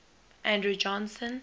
andrew johnson